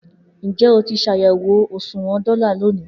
Njẹ o ti ṣayẹwo oṣuwọn dola loni?